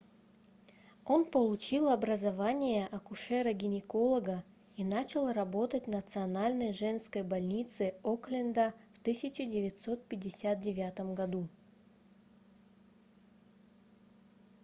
он получил образование акушера-гинеколога и начал работать в национальной женской больнице окленда в 1959 году